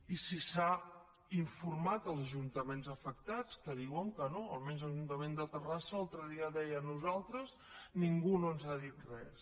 i si s’ha informat els ajuntaments afectats que diuen que no almenys l’ajuntament de terrassa l’altre dia deia a nosaltres ningú no ens ha dit res